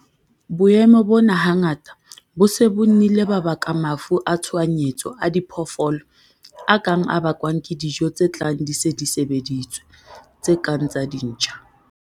Boemo bona hangata bo se bo nnile ba baka mafu a tshohanyetso a diphoofolo a kang a bakwang ke dijo tse tlang di se di sebeditswe, tse kang tsa dintja.